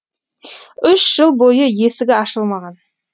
үш жыл бойы есігі ашылмаған